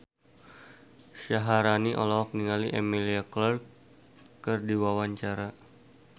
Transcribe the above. Syaharani olohok ningali Emilia Clarke keur diwawancara